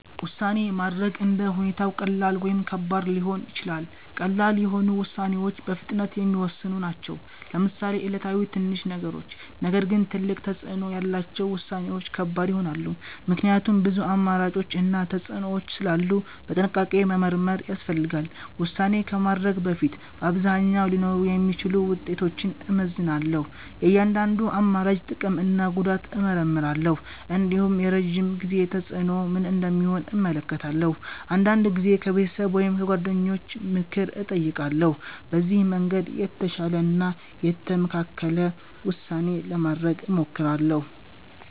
ውሳኔ ማድረግ እንደ ሁኔታው ቀላል ወይም ከባድ ሊሆን ይችላል። ቀላል የሆኑ ውሳኔዎች በፍጥነት የሚወሰኑ ናቸው፣ ለምሳሌ ዕለታዊ ትንሽ ነገሮች። ነገር ግን ትልቅ ተፅዕኖ ያላቸው ውሳኔዎች ከባድ ይሆናሉ፣ ምክንያቱም ብዙ አማራጮች እና ተፅዕኖዎች ስላሉ በጥንቃቄ መመርመር ያስፈልጋል። ውሳኔ ከማድረግ በፊት በአብዛኛው ሊኖሩ የሚችሉ ውጤቶችን እመዝናለሁ። የእያንዳንዱን አማራጭ ጥቅም እና ጉዳት እመርምራለሁ። እንዲሁም የረዥም ጊዜ ተፅዕኖ ምን እንደሚሆን እመለከታለሁ። አንዳንድ ጊዜም ከቤተሰብ ወይም ከጓደኞች ምክር እጠይቃለሁ። በዚህ መንገድ የተሻለ እና የተመካከለ ውሳኔ ለማድረግ እሞክራለሁ።